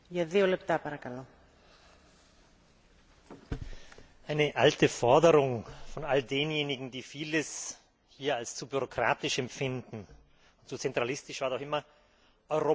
Frau Präsidentin! Eine alte Forderung von all denjenigen, die vieles hier als zu bürokratisch empfinden, als zu zentralistisch, war doch immer Europa muss man spüren können.